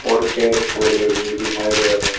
और पेड़ पौधे भी दिखाई दे रहे हैं।